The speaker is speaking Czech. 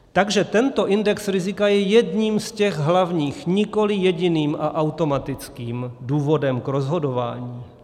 Takže tento index rizika je jedním z těch hlavních, nikoliv jediným a automatickým důvodem k rozhodování.